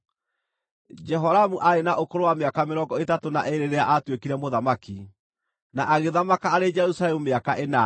Jehoramu aarĩ na ũkũrũ wa mĩaka mĩrongo ĩtatũ na ĩĩrĩ rĩrĩa aatuĩkire mũthamaki, na agĩthamaka arĩ Jerusalemu mĩaka ĩnana.